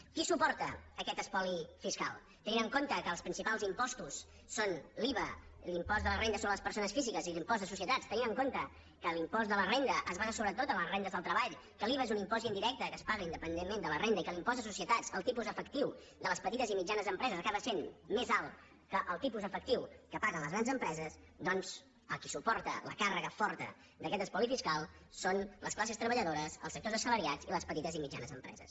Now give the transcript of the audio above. qui suporta aquest espoli fiscal tenint en compte que els principals impostos són l’iva l’impost de la renda sobre les persones físiques i l’impost de societats tenint en compte que l’impost de la renda es basa sobretot en les rendes del treball que l’iva és un impost indirecte que es paga independentment de la renda i que en l’impost de societats el tipus efectiu de les petites i mitjanes empreses acaba sent més alt que el tipus efectiu que paguen les grans empreses doncs el qui suporta la càrrega forta d’aquest espoli fiscal són les classes treballadores els sectors assalariats i les petites i mitjanes empreses